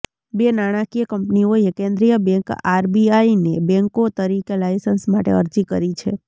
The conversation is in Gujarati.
બે નાણાકીય કંપનીઓએ કેન્દ્રીય બેંક આરબીઆઈને બેંકો તરીકે લાયસન્સ માટે અરજી કરી છે